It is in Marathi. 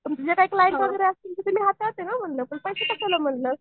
तुमचे जे काय क्लाएंट वगैरे असतील ते हाताळते ना म्हणलं पण पैसे कशाला म्हणलं?